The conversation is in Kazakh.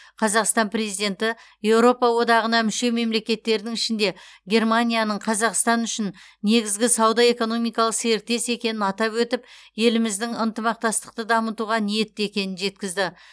қазақстан президенті еуропа одағына мүше мемлекеттердің ішінде германияның қазақстан үшін негізгі сауда экономикалық серіктес екенін атап өтіп еліміздің ынтымақтастықты дамытуға ниетті екенін жеткізді